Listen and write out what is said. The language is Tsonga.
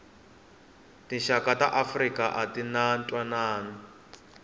tixaka ta afrika atinga ntwanani